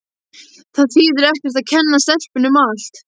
Það þýðir ekkert að kenna stelpunni um allt.